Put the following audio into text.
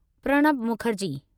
Pranab Mukherjee